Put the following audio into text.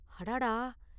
அடாடா!